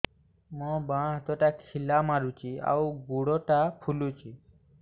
ମୋ ବାଆଁ ହାତଟା ଖିଲା ମାରୁଚି ଆଉ ଗୁଡ଼ ଟା ଫୁଲୁଚି